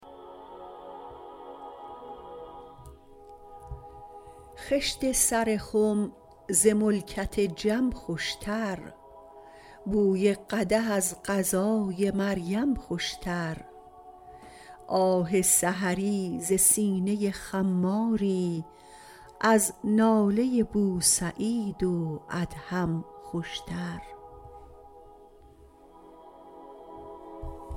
خشت سر خم ز ملکت جم خوشتر بوی قدح از غذای مریم خوشتر آه سحری ز سینه خماری از ناله بوسعید و ادهم خوشتر